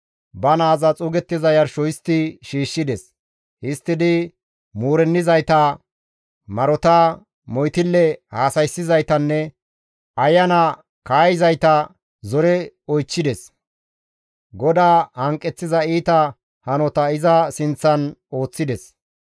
Ba naaza xuugettiza yarsho histti shiishshides; histtidi muurennizayta, marota, moytille haasayssizaytanne ayana kaayizayta zore oychchides; GODAA hanqeththiza iita hanota iza sinththan ooththides.